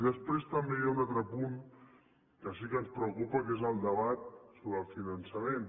i després també hi ha un altre punt que sí que ens preocupa que és el debat sobre el finançament